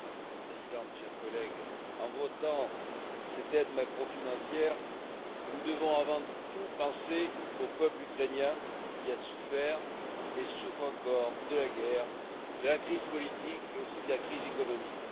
Madame la Présidente, chers collègues, en votant cette aide macro financière, nous devons avant tout penser au peuple ukrainien qui a souffert et souffre encore de la guerre, de la crise politique mais aussi de la crise économique.